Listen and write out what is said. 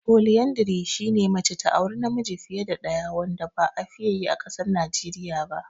"Polyandry" shine mace ta auri namiji fiye da ɗaya wanda ba a fiye yi a ƙasar Najeriya ba.